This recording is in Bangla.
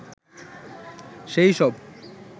সে-ই সব